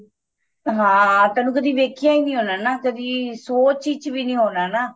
ਹਾਂ ਤੈਨੂੰ ਕਦੀ ਵੇਖਿਆ ਈ ਹੋਣਾ ਨਾ ਕਦੀ ਸੋਚ ਵਿੱਚ ਵੀ ਹੋਣਾ ਨਾ